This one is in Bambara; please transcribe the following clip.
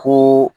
Ko